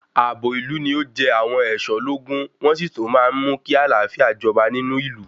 Àbò ìlú ni o jẹ àwọn ẹ̀ṣọ́ lógún ,wọ́n sí tún máa ń mú kí àlàáfíà jọba nínú ìlú.